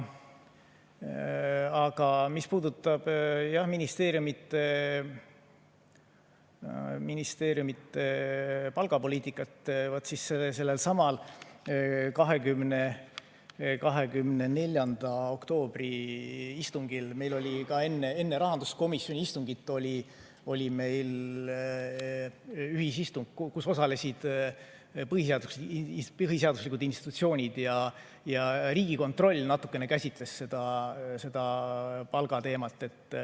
Aga mis puudutab ministeeriumide palgapoliitikat, siis sellelsamal 24. oktoobril meil oli enne rahanduskomisjoni istungit ühisistung, kus osalesid põhiseaduslike institutsioonide, ja Riigikontroll natukene käsitles seda palgateemat.